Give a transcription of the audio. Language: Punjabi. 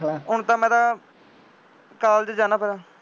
ਹੁਣ ਤਾਂ ਮੈਂ ਤਾਂ ਕਾਲਜ ਜਾਂਦਾ ਪਹਿਲਾਂ